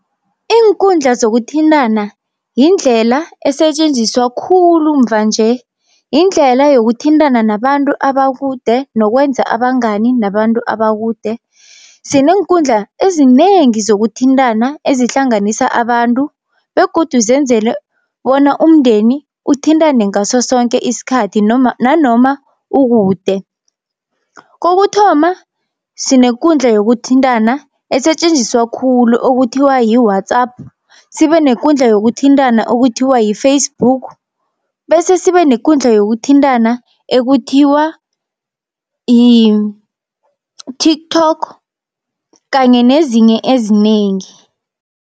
Iinkundla zokuthintana yindlela esetjenziswa khulu mva nje, yindlela yokuthintana nabantu abakude nokwenza abangani nabantu abakude. Sineenkundla ezinengi zokuthintana ezihlanganisa abantu, begodu zenzelwe bona umndeni uthintane ngaso sonke isikhathi nanoma ukude. Kokuthoma sinekundla yokuthintana esetjenziswa khulu okuthiwa yi-WhatsApp, sibe nekundla yokuthintana okuthiwa yi-Facebook, bese sibe nekundla yokuthintana ekuthiwa yi-TikTok kanye nezinye ezinengi.